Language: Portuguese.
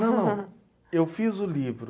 Não, não, eu fiz o livro.